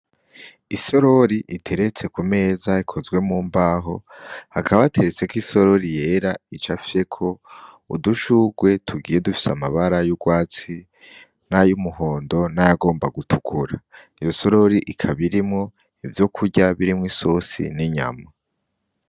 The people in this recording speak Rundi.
Isorori iteretse ku meza ikozwe mu mbaho ,hakaba hateretseko isorori yera icafyeko udushurwe tugiye dutandukanye amabara y'urwatsi nay'umuhondo nayagomba gutukura ,iyo sororité ikaba irimwo ivyo kurya birimwo isosi n'inyama.